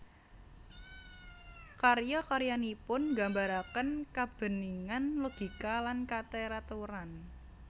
Karya karyanipun nggambaraken kabeningan logika lan kateraturan